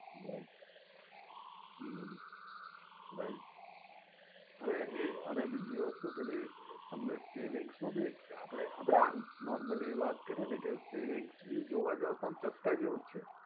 right હમ right અને એ અને બીજી વસ્તુ પેલી તમને saving શું તમને saving શું ભી આપણે આમ normally વાત કરીયે ને કે savings ભી જોવા જાવ તો આમ ચશકા જેવુ જ છે.